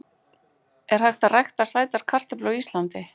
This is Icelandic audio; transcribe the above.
Er hægt að rækta sætar kartöflur á Íslandi?